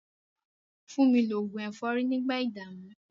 Fúnmi lo oògùn ẹ̀fọ́rí nígbà ìdààmú.